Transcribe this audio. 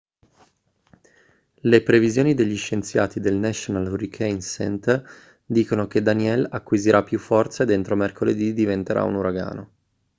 le previsioni degli scienziati del national hurricane center dicono che danielle acquisirà più forza ed entro mercoledì diventerà un uragano